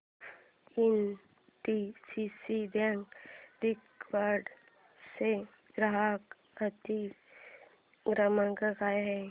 NDCC bank दिघवड चा ग्राहक हित क्रमांक काय आहे